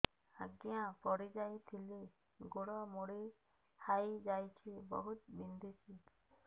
ଆଜ୍ଞା ପଡିଯାଇଥିଲି ଗୋଡ଼ ମୋଡ଼ି ହାଇଯାଇଛି ବହୁତ ବିନ୍ଧୁଛି